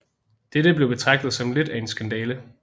Dette blev betragtet som lidt af en skandale